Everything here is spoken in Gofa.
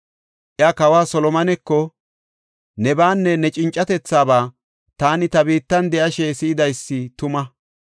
Iya, kawa Solomoneko, “Nebaanne ne cincathaba taani ta biittan de7ashe si7idaysi tuma.